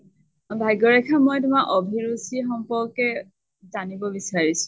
ভাগ্য়ৰেখা মই তোমাৰ অভিৰুচী সম্পৰ্কে জানব বিচাৰিছো।